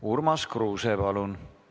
Urmas Kruuse, palun!